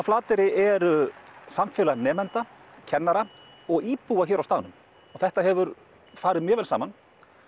Flateyri er samfélag nemenda kennara og íbúa hér á staðnum og þetta hefur farið mjög vel saman